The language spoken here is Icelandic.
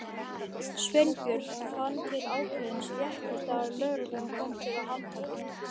Sveinbjörn fann til ákveðins léttis þegar lögreglan kom til að handtaka hann.